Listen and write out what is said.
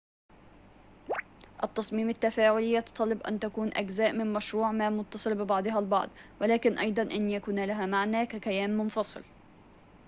التصميم التفاعلي يتطلب أن تكون أجزاء من مشروع ما متصلة ببعضها البعض ولكن أيضاً أن يكون لها معنى ككيان منفصل